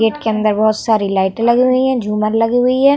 Gate के अंदर बहोत सारी लाइटे लगी हुई हैं झूमर लगी हुई है।